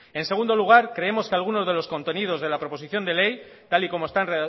en segundo lugar creemos que algunos de los contenidos de la proposición de ley tal y como están